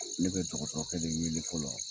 Ne bɛ dɔgɔtɔkɛ de wele fɔlɔ